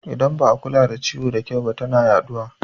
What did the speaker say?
Idan ba a kula da ciwo da kyau ba tana yaɗuwa